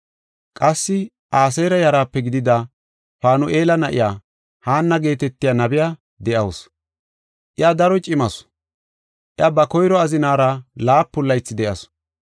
Qassi Aseera yaraape gidida Faanu7ela na7iya Haanna geetetiya nabey de7awusu. Iya daro cimasu; iya ba koyro azinaara laapun laythi de7asu.